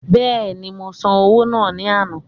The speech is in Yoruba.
Bẹ́ẹ̀ni, mo san owó náà ní àná